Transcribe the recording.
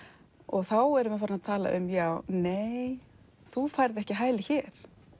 þá erum við farin að tala um nei þú færð ekki hæli hér